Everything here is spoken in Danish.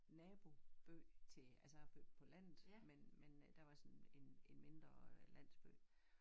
Naboby til altså jeg er født på landet men men øh der var sådan en en mindre øh landsby